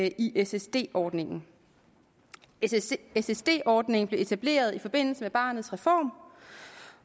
i ssd ordningen ssd ordningen blev etableret i forbindelse med barnets reform